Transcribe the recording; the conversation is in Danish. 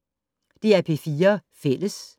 DR P4 Fælles